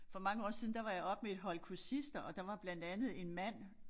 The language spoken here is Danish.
For mange år siden der var jeg oppe med et hold kursister og der var blandt andet en mand